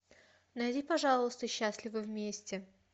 найди пожалуйста счастливы вместе